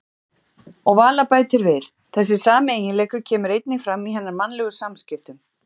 Og Vala bætir við: Þessi sami eiginleiki kemur einnig fram í hennar mannlegu samskiptum.